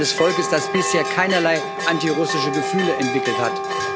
Eines Volkes, das bisher keinerlei antirussische Gefühle entwickelt hat.